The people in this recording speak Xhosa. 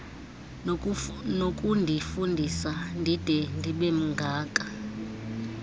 nokundifundisa ndide ndibemngaka